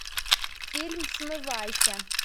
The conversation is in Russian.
фильм смывайся